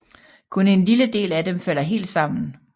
Kun en lille del af dem falder helt sammen